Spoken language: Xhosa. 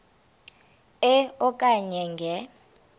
e okanye nge